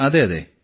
അതെ അതെ